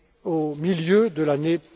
au milieu de l'année